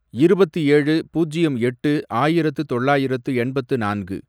இருபத்து ஏழு, பூஜ்யம் எட்டு, ஆயிரத்து தொள்ளாயிரத்து எண்பத்து நான்கு